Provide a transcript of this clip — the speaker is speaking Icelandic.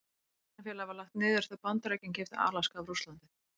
Verslunarfélagið var lagt niður þegar Bandaríkin keyptu Alaska af Rússlandi.